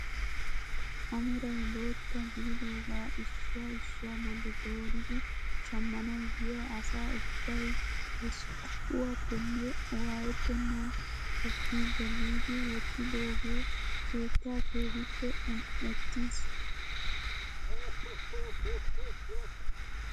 A meray bootta gididoogaa issuwaa issuwa bolli dooridi shammanawu yiyaa asa ubbay he sohuwaappeayne waayettenan ekkiigo giidi wottidogee keetta keehippe un"ettiis.